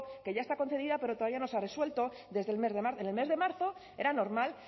que ya está concedida pero todavía no se ha resuelto desde el mes de marzo en el mes de marzo era normal